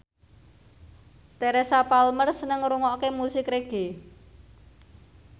Teresa Palmer seneng ngrungokne musik reggae